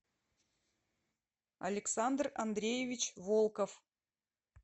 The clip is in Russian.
александр андреевич волков